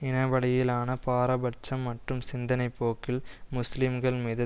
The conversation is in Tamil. இனவழியிலான பாரபட்சம் மற்றும் சிந்தனை போக்கில் முஸ்லிம்கள் மீது